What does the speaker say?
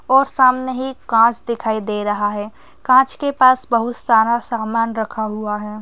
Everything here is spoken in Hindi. और सामने ही कांच दिखाई दे रहा है कांच के पास बहुत सारा सामान रखा हुआ है।